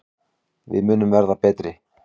Við munum verða betri.